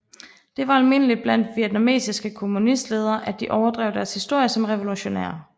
Det var almindeligt blandt vietnamesiske kommunistledere at de overdrev deres historie som revolutionære